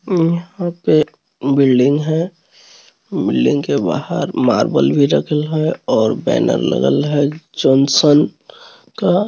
यहाँ पे बिल्डिंग है। बिल्डिंग के बाहर मार्बल भी रखी है और बैनर लगल है जोनसन का --